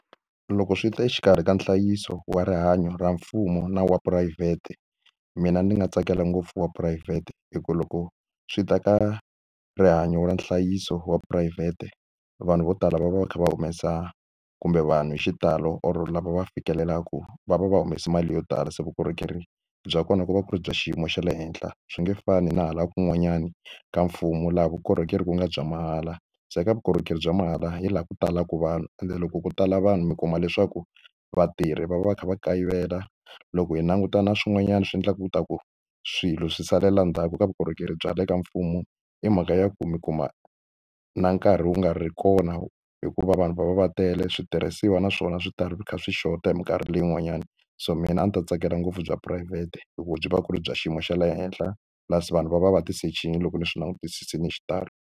Loko swi ta exikarhi ka nhlayiso wa rihanyo ra mfumo na wa phurayivhete mina ni nga tsakela ngopfu wa phurayivhete hi ku loko swi ta ka rihanyo ra nhlayiso wa phurayivhete vanhu vo tala va va va kha va humesa kumbe vanhu hi xitalo or lava va fikelelaka va va va humese mali yo tala se vukorhokeri bya kona ko va ku ri bya xiyimo xa le henhla swi nge fani na hala kun'wanyani ka mfumo laha vukorhokeri ku nga bya mahala se eka vukorhokeri bya mahala hi laha ku talaka vanhu ende loko ko tala vanhu mi kuma leswaku vatirhi va va kha va kayivela loko hi languta na swin'wanyana swi endlaka ku ta ku swilo swi salela ndzhaku ka vukorhokeri bya le ka mfumo i mhaka ya ku mi kuma na nkarhi wu nga ri kona hikuva vanhu va va va tele switirhisiwa na swona swi ta ri swi kha swi xota hi mikarhi leyi n'wanyana so mina a ndzi ta tsakela ngopfu bya phurayivhete hikuva byi va byi ri bya xiyimo xa le henhla laha vanhu va va va tisechini loko ni swi langutisile hi xitalo.